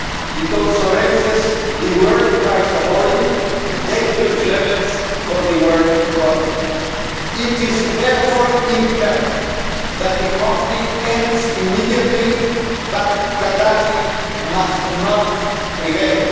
It also raises the world price of oil to levels dangerous for the world economy. It is therefore imperative that the conflict ends immediately, but Gaddafi must not prevail.